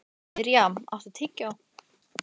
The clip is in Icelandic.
Mirjam, áttu tyggjó?